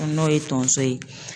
N'o ye tonso ye